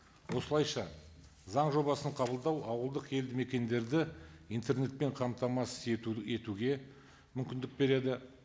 осылайша заң жобасын қабылдау ауылдық елді мекендерді интернетпен қамтамасыз етуге мүмкіндік береді